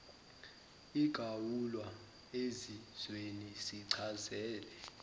igawulwa ezizweni sichazele